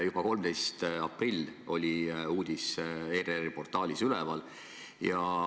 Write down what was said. Juba 13. aprillil oli uudis ERR-i portaalis üleval.